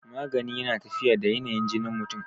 magani yana tafiya da yanayin jinin mutum